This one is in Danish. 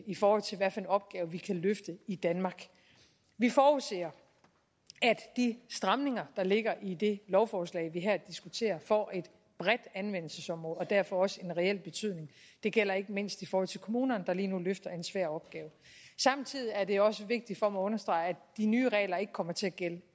i forhold til hvad for en opgave vi kan løfte i danmark vi forudser at de stramninger der ligger i det lovforslag vi her diskuterer får et bredt anvendelsesområde og derfor også en reel betydning det gælder ikke mindst i forhold til kommunerne der lige nu løfter en svær opgave samtidig er det også vigtigt for mig at understrege at de nye regler ikke kommer til at gælde